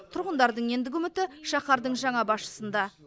тұрғындардың ендігі үміті шаһардың жаңа басшысында